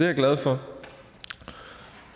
jeg glad for